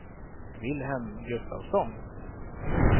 Vilhelm Gustafsson